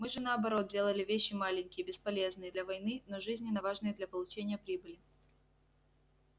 мы же наоборот делали вещи маленькие бесполезные для войны но жизненно важные для получения прибыли